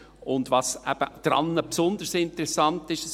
Und was daran eben besonders interessant ist: